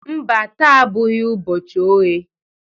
Mba, taa abụghị ụbọchị oghe